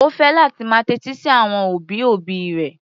Ó fẹ́ láti máa tẹ́tí sí àwọn òbí-òbí rẹ̀.